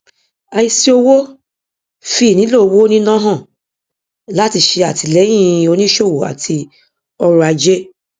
àìsí owó fi ìnílò owó níná hàn láti ṣe àtìléyìn onísòwò àti ọrọ ajé